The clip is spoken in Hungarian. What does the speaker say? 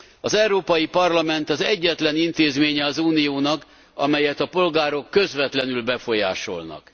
Az Európai Parlament az egyetlen intézménye az Uniónak, amelyet a polgárok közvetlenül befolyásolnak.